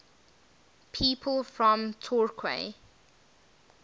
people from torquay